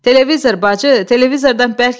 Televizor bacı, televizordan bərk yapış!